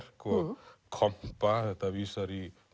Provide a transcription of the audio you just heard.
og kompa þetta vísar í